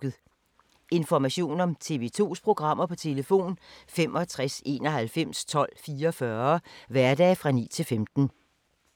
Information om TV 2's programmer: 65 91 12 44, hverdage 9-15.